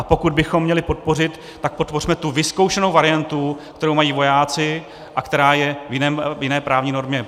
A pokud bychom měli podpořit, tak podpořme tu vyzkoušenou variantu, kterou mají vojáci a která je v jiné právní normě.